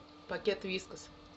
пакет вискас